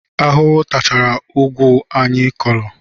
Ahụhụ tachara ugwu niile anyị kụrụ